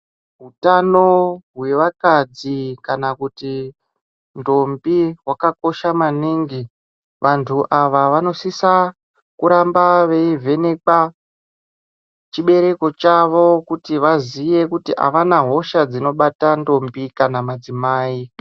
Utano hwevakadzi kana kuti ndombi wakakosha maningi vantu ava vanosisa kuramba veivhenekwa chibereko chaiwo kuti vazive kuti havana hosha dzinobata ndombi kana madzimai.